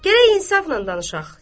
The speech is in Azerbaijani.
Gərək insafla danışaq.